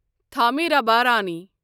Thamirabarani